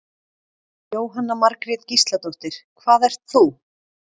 Jóhanna Margrét Gísladóttir: Hvað ert þú?